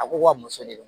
A ko wa muso de don